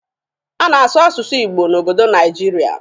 A na-asụ asụsụ Igbo n'obodo Naijiria.